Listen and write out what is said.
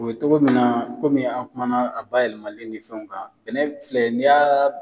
O bɛ cogo min na kɔmi an kumana a bayɛlɛmani ni fɛnw kan bɛnɛ filɛ n'i y'a